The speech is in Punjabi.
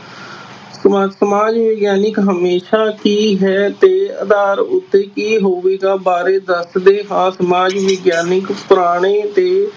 ਸਮਾ~ ਸਮਾਜ ਵਿਗਿਆਨਕ ਹਮੇਸ਼ਾ ਕੀ ਹੈ ਦੇ ਆਧਾਰ ਉੱਤੇ ਕੀ ਹੋਵੇਗਾ ਬਾਰੇ ਦੱਸਦੇ ਹਾਂ ਸਮਾਜ ਵਿਗਿਆਨਕ ਪੁਰਾਣੇ ਤੇ